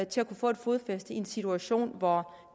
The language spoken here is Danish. til at få et fodfæste i en situation hvor